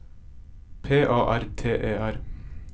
P A R T E R